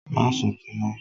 Má sunkún mọ́!